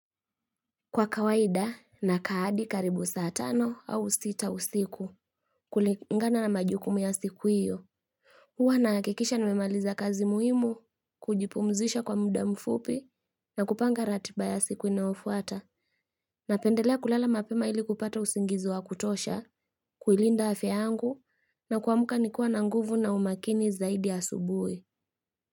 Kwa kawaida na ka hadi karibu saa tano au sita usiku kulingana na majukumu ya siku hiyo huwa na hakikisha na memaliza kazi muhimu kujipumzisha kwa muda mfupi na kupanga ratiba ya siku inaofuata na pendelea kulala mapema ili kupata usingizi wa kutosha kuilinda afya yangu na kuwamuka nikua na nguvu na umakini zaidi asubuhi.